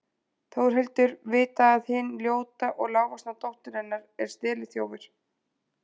Þórhildur vita að hin ljóta og lágvaxna dóttir hennar er steliþjófur?